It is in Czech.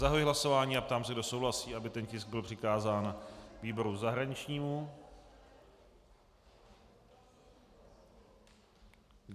Zahajuji hlasování a ptám se, kdo souhlasí, aby ten tisk byl přikázán výboru zahraničnímu.